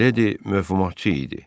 Mileydi məğlubatçı idi.